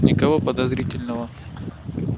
никого подозрительного